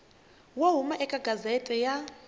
wo huma eka gazette ya